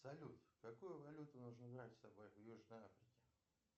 салют какую валюту нужно брать с собой в южной африке